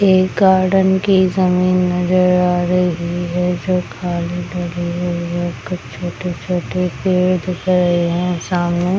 एक गार्डन की जमीन नजर आ रही है जो खाली पड़ी हुई है कुछ छोटे-छोटे पेड़ दिख रहे है सामने |